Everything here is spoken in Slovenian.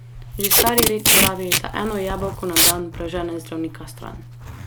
Že stari rek pravi, da eno jabolko na dan, prežene zdravnika stran.